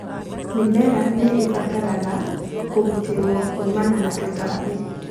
mĩmera nĩ ibataraga kũgitĩrũo kuumana na tũtambi